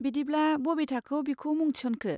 बिदिब्ला, बबे थाखोआव बिखौ मुं थिसनखो?